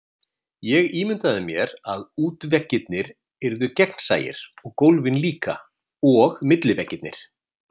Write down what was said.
Ég ímyndaði mér, að útveggirnir yrðu gegnsæir, og gólfin líka, og milliveggirnir.